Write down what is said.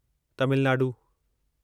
Tamil Nadu